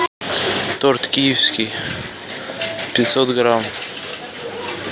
торт киевский пятьсот грамм